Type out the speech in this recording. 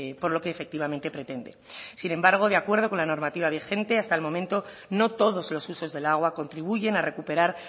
por lo que efectivamente pretende sin embargo de acuerdo con la normativa vigente hasta el momento no todos los usos del agua contribuyen a recuperar